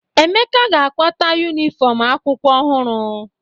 Emeka ga-akwata yunifọmụ akwụkwọ ọhụrụ.